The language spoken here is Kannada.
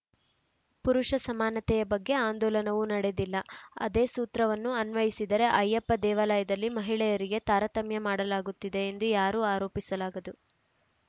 ಪುರುಷ ಸಮಾನತೆಯ ಬಗ್ಗೆ ಆಂದೋಲನವೂ ನಡೆದಿಲ್ಲ ಅದೇ ಸೂತ್ರವನ್ನು ಅನ್ವಯಿಸಿದರೆ ಅಯ್ಯಪ್ಪ ದೇವಾಲಯದಲ್ಲಿ ಮಹಿಳೆಯರಿಗೆ ತಾರತಮ್ಯ ಮಾಡಲಾಗುತ್ತಿದೆ ಎಂದು ಯಾರೂ ಆರೋಪಿಸಲಾಗದು